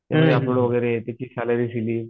वगैरे त्याची शाळेची शैली